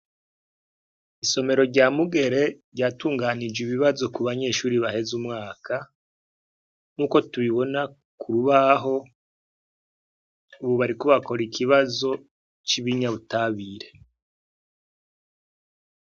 Isomero rya mugere ryatunganije ibibazo ku banyeshuri baheze umwaka nk'uko tubibona ku rubaho ububarikubakora ikibazo c'ibinyabutabire.